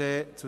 der BiK.